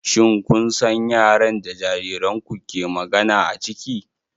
Shin kun san yaren da jaririnku ke magana a ciki?